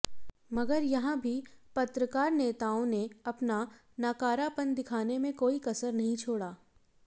मगर यहां भी पत्रकार नेताओं ने अपना नाकारापन दिखाने में कोई कसर नहीं छोड़ा